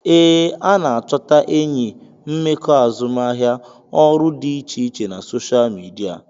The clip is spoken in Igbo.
Ee, a na-achọta enyi, mmekọ azụmahịa, ọrụ dị iche iche na soshal midia